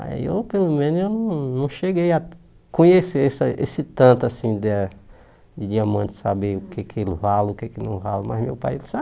Aí eu, pelo menos, eu não não cheguei a conhecer esse a esse tanto da de diamante, saber o que é que ele vale, o que é que não vale, mas meu pai ele sabe.